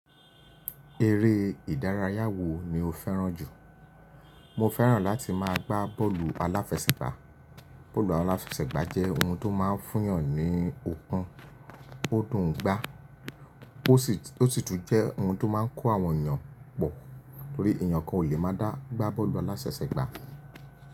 Eré ìdárayá wo ni o fẹ́ràn jù? Mo fẹ́ràn láti máa gbá bọ́ọ̀lù aláfẹsẹ̀gbá. Bọ́ọ̀lù aláfẹsẹ̀gbá jẹ́ ohun tó máa ń fún ìyàn ní okun ó dùn ún gbá, ó sì tún jẹ́ ohun tó máa ń kó àwọn èèyàn pọ̀, torí èèyàn kan ò lè máa dá gbá bọ́ọ̀lù aláfẹsẹ̀gbá.